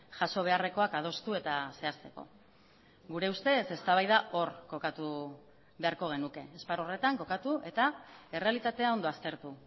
jaso beharrekoak adostu eta zehazteko gure ustez eztabaida hor kokatu beharko genuke esparru horretan kokatu eta errealitatea ondo aztertu